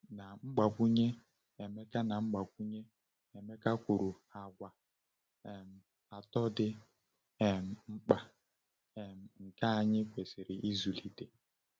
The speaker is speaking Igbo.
Na mgbakwunye, Emeka Na mgbakwunye, Emeka kwuru àgwà um atọ dị um mkpa um nke anyị kwesịrị ịzụlite.